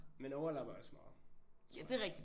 Man overlapper også meget tror jeg